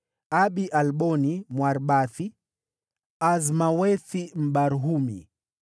Abi-Alboni, Mwaribathi; Azmawethi, Mbarhumi;